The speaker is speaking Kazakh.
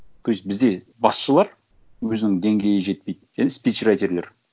то есть бізде басшылар өзінің деңгейі жетпейді және спичрайтерлер